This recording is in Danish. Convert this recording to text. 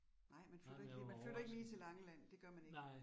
Nej man flytter ikke lige, man flytter ikke lige til Langeland, det gør man ikke